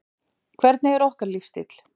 Hvernig er okkar lífsstíll?